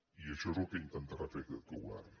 i això és el que intentarà fer aquest govern